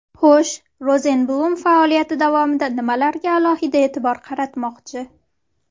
Xo‘sh, Rozenblum faoliyati davomida nimalarga alohida eʼtibor qaratmoqchi?